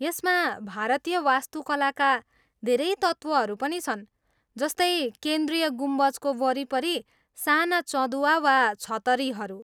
यसमा भारतीय वास्तुकलाका धेरै तत्त्वहरू पनि छन्, जस्तै केन्द्रीय गुम्बजको वरिपरि साना चँदुवा वा छतरीहरू।